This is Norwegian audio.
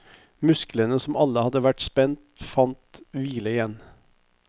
Musklene som alle hadde vært spent fant hvile igjen.